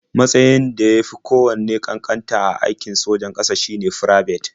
Matsayn da ya fi kowanne ƙanƙanta a aikin sojan ƙasa shine Firabet.